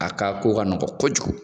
A ka ko ka nɔgɔn kojugu.